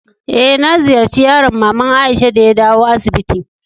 Eh, na ziyace yaron mama'n Aisha de ya dawo asibiti.